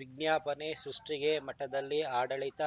ವಿಜ್ಞಾಪನೆ ಸೃಷ್ಟಿಗೆ ಮಠದಲ್ಲಿ ಆಡಳಿತ